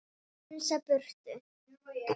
Magga litla getur komið hingað.